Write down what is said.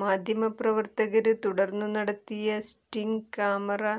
മാധ്യമപ്രവര്ത്തകര് തുടര്ന്നു നടത്തിയ sting camera